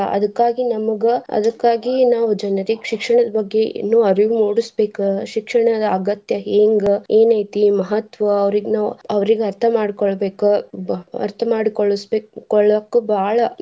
ಅದಕ್ಕಾಗಿ ನಮ್ಗ್ ಅದಕ್ಕಾಗಿ ನಾವ್ ಜನರಿಗೆ ಶಿಕ್ಷಣದ ಬಗ್ಗೆ ಇನ್ನು ಅರಿವು ಮೂಡಸ್ಬೇಕ ಶಿಕ್ಷಣದ ಅಗತ್ಯ ಹೆಂಗ ಏನ್ ಐತಿ ಮಹತ್ವ ಅವ್ರಿಗ್ ನಾವ್ ಅವ್ರಿಗ್ ಅರ್ಥ ಮಾಡ್ಕೊಳ್ಬೇಕ ಅರ್ಥ ಮಾಡಿಕೊಳ್ಳಿಸ್ ಬೇ~ ಕೊಳ್ಳೋಕು ಬಾಳ.